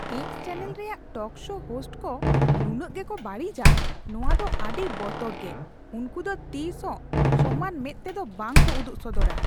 X channel ᱨᱮᱭᱟᱜ talk show host ᱠᱚ ᱱᱩᱱᱟᱹᱜ ᱜᱮᱠᱚ ᱵᱟᱹᱲᱤᱡᱼᱟ, ᱱᱚᱶᱟ ᱫᱚ ᱟᱹᱰᱤ ᱵᱚᱛᱚᱨᱜᱮ ᱾ᱩᱱᱠᱩ ᱫᱚ ᱛᱤᱥᱦᱚᱸ ᱥᱚᱢᱟᱱ ᱢᱮᱸᱫ ᱛᱮᱫᱚ ᱵᱟᱝᱠᱚ ᱩᱫᱩᱜ ᱥᱚᱫᱚᱨᱟ ᱾